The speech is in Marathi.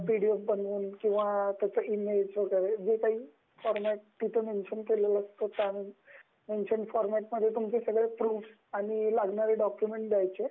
पीडीएफ बनवून किंवा इ -मेलनी काही फॉरमेट तिथे मेंशन केल असेल, मेंशन फॉरमेट मध्ये तुमचे सगळे प्रूफ, आणि लागणारे डॉक्युमेंट द्यायचे